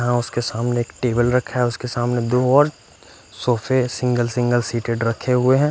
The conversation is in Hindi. यहा उसके सामने एक टेबल रखा है उसके सामने दो और सोफे सिंगल सिंगल सीटेड रखे हुए है।